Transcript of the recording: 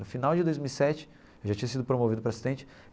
No final de dois mil e sete, eu já tinha sido promovido para assistente.